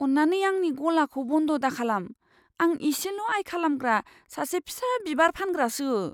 अन्नानै आंनि गलाखौ बन्द' दाखालाम। आं एसेल' आय खालामग्रा सासे फिसा बिबार फानग्रासो।